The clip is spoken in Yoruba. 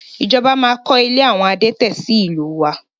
Ìjọba máa kọ ilé àwọn adẹ́tẹ̀ sì ìlú wa